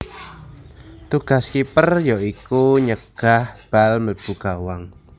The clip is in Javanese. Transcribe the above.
Tugas kiper ya iku nyegah bal mlebu gawang